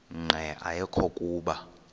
nqe ayekho kuba